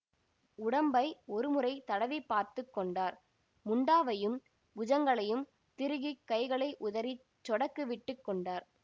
உடம்பை ஒரு முறை தடவி பார்த்து கொண்டார் முண்டாவையும் புஜங்களையும் திருகிக் கைகளை உதறிச் சொடக்கு விட்டு கொண்டார்